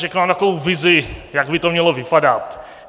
Řeknu vám takovou vizi, jak by to mělo vypadat.